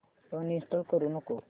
uninstall करू नको